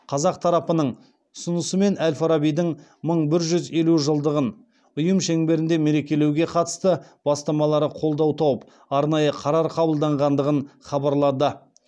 қазақ тарапының ұсынысымен әл фарабидің мың бір жүз елу жылдығын ұйым шеңберінде мерекелеуге қатысты бастамалары қолдау тауып арнайы қарар қабылданғандығын хабарлады